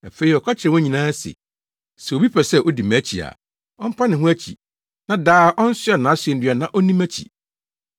Afei ɔka kyerɛɛ wɔn nyinaa se, “Sɛ obi pɛ sɛ odi mʼakyi a, ɔmpa ne ho akyi na daa ɔnsoa nʼasennua na onni mʼakyi.